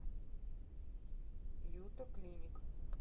юта клиник